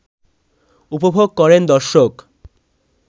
উপভোগ করেন দর্শক